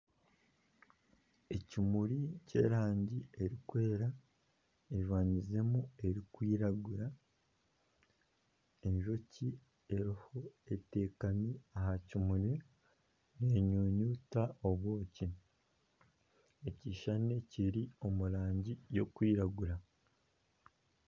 Ekimuri ky'erangi erikwera kijwangizemu erikwiragura, enjoki eriho eteekami aha kimuri, neenyunyuta obwoki, ekishushani kiri omu rangi y'okwiragura